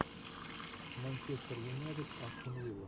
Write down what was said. манчестер юнайтед астон вилла